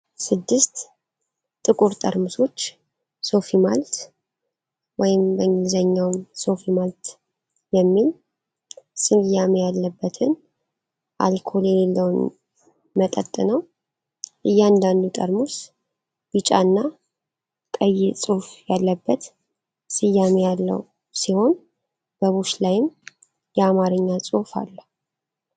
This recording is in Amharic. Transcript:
ስድስት ጥቁር ጠርሙሶች 'ሶፊ ማልት' (SOFI MALT) የሚል ስያሜ ያለበትን አልኮል የሌለውን መጠጥ ነው። እያንዳንዱ ጠርሙስ ቢጫና ቀይ ጽሑፍ ያለበት ስያሜ ያለው ሲሆን በቡሽ ላይም የአማርኛ ጽሑፍ አለው።